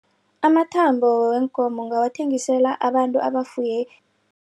Amathabo kweenkomo ngingawathengisela abantu abafuye